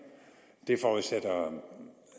det forudsætter